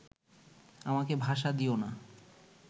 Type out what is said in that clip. আমাকে ভাষা দিয়ো না